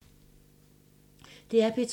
DR P2